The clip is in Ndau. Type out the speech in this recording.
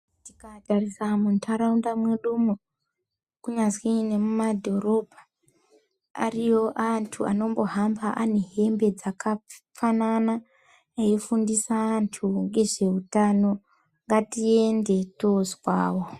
Tika tarisa mu ndaraunda mwedumo ku nyazi nemu madhorobha ariyo antu anombo hamba ane hembe dzaka fanana eyi fundisa antu ngezve utano ngati ende tozwawo.